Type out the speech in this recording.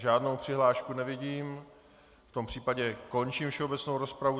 Žádnou přihlášku nevidím, v tom případě končím všeobecnou rozpravu.